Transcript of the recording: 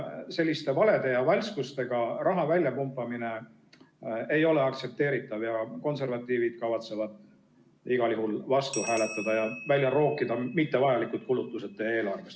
Selliste valede ja valskustega raha väljapumpamine ei ole aktsepteeritav ja konservatiivid kavatsevad igal juhul selle vastu hääletada ja eelarvest mittevajalikud kulutused välja rookida.